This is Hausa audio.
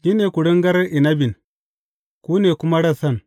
Ni ne kuringar inabin; ku ne kuma rassan.